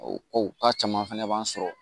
O ko k'a caman fana b'an sɔrɔ